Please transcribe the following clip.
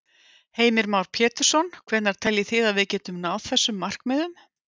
Heimir Már Pétursson: Hvenær teljið þið að við getum náð þessum markmiðum?